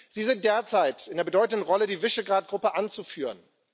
Sie sind derzeit in der bedeutenden Rolle, die Visegrád Gruppe anzuführen.